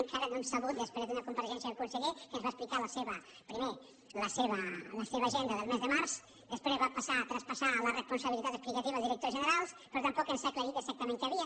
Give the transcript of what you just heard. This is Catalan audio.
encara no hem sabut després d’una compareixença del conseller que ens va explicar primer la seva agenda del mes de març després va passar a traspassar la responsabilitat explicativa al director general però tampoc ens ha aclarit exactament què hi havia